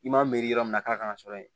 I m'a miiri yɔrɔ min na k'a kan ka sɔrɔ yen